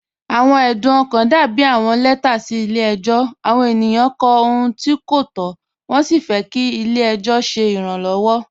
Awọn ẹdún ọkan dàbí awọn lẹtà sí ilẹ̀-ẹjọ. Awọn ènìyàn kọ̀ ọ̀hùn tí̀ kò tó, wọn sí fẹ́ kí ilẹ̀-ẹjọ ṣẹ̀ iránlọ́wọ́.